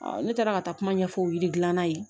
ne taara ka taa kuma ɲɛfɔ o yiridilan na yen